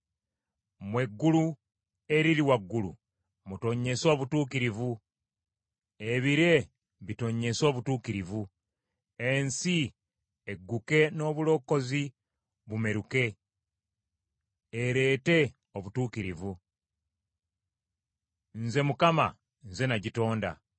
“Mmwe eggulu eriri waggulu, mutonnyese obutuukirivu. Ebire bitonnyese obutuukirivu. Ensi egguke n’obulokozi bumeruke, ereete obutuukirivu. Nze Mukama nze nagitonda.